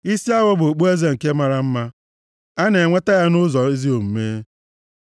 Isi awọ bụ okpueze nke mara mma, a na-enweta ya nʼụzọ ezi omume.